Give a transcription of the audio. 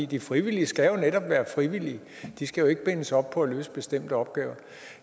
de frivillige skal jo netop være frivillige de skal ikke bindes op på at løse bestemte opgaver